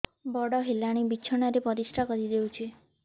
ବଡ଼ ହେଲାଣି ବିଛଣା ରେ ପରିସ୍ରା କରିଦେଉଛି